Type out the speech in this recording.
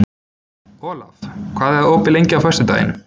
Olav, hvað er opið lengi á föstudaginn?